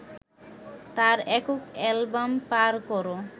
তার একক অ্যালবাম পার করো